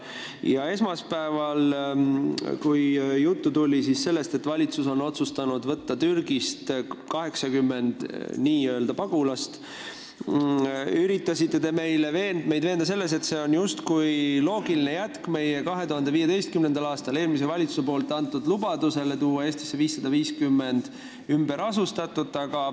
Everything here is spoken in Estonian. Ja kui esmaspäeval tuli juttu sellest, et valitsus on otsustanud võtta meile Türgist 80 pagulast, üritasite te meid veenda selles, justkui oleks see loogiline jätk 2015. aastal eelmise valitsuse antud lubadusele tuua Eestisse 550 ümberasustatut.